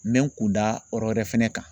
N bɛ n kun da yɔrɔ wɛrɛ fɛnɛ kan.